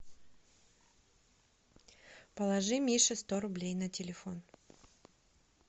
положи мише сто рублей на телефон